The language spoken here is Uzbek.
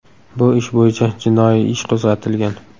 Bu ish bo‘yicha jinoiy ish qo‘zg‘atilgan.